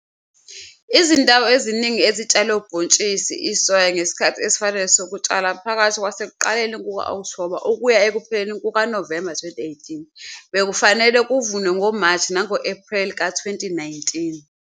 Izindawo eziningi ezitshale ubhontshisi isoya ngesikhathi esifanele sokutshala phakathi kwasekuqaleni kuka-Okthoba ukuya ekupheleni kukaNovemba 2018 bekufanele kuvunwe ngoMashi nango-Ephreli ka-2019.